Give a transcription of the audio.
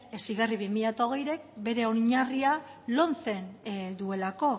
heziberri bi mila hogeik bere oinarria lomcen duelako